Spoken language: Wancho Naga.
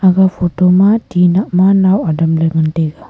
aga photo ma tinakma nau adamley ngan taiga .